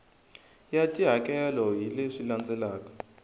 ya tihakelo hi leswi landzelaka